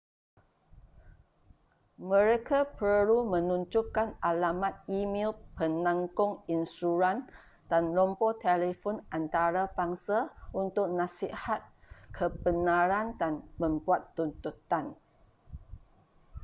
mereka perlu menunjukkan alamat e-mel penanggung insuran dan nombor telefon antarabangsa untuk nasihat/kebenaran dan membuat tuntutan